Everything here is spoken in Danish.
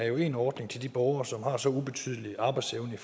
jo en ordning til de borgere som har så ubetydelig arbejdsevne i